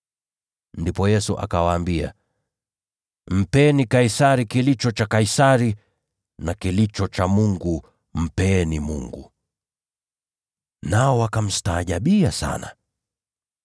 Ndipo Yesu akawaambia, “Mpeni Kaisari kilicho cha Kaisari, naye Mungu mpeni kilicho cha Mungu.” Nao wakamstaajabia sana.